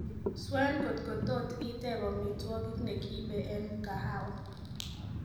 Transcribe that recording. swen kotkotot iteb omitwogik negiibe en mkahawa